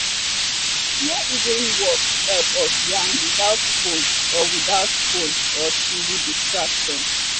small evening walk help us yarn without phone or without phone or tv distraction.